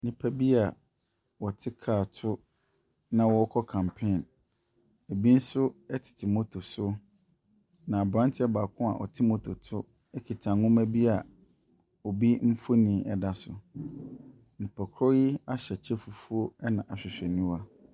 Nnipa bi a wɔte car to na wɔrekɔ campaign. Ɛbi nso tete moto so. Na aberanteɛ baako a ɔte motor so kita nwoma bi a obi mfonin da so. Nipakorɔ yi ahyɛ kyɛ fufuo, ɛna ahwehwɛniwa.